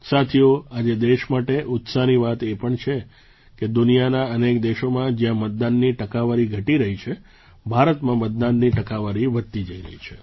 સાથીઓ આજે દેશ માટે ઉત્સાહની વાત એ પણ છે કે દુનિયાના અનેક દેશોમાં જ્યાં મતદાનની ટકાવારી ઘટી રહી છે ભારતમાં મતદાનની ટકાવારી વધતી જઈ રહી છે